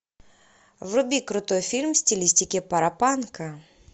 вруби крутой фильм в стилистике паропанка